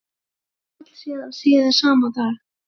Bankinn féll síðan síðar sama dag